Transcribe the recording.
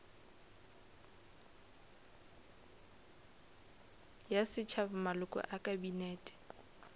ya setšhaba maloko a kabinete